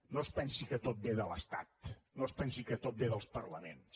no es pensi que tot ve de l’estat no es pensi que tot ve dels parlaments